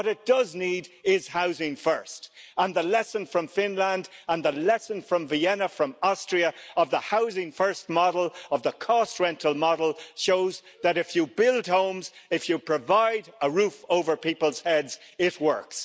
What it does need is Housing First! And the lesson from Finland and the lesson from Vienna, from Austria, of the Housing First model, of the cost rental model, shows that if you build homes, if you provide a roof over people's heads, it works.